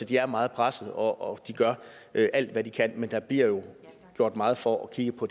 de er meget presset og de gør alt hvad de kan men der bliver jo gjort meget for at kigge på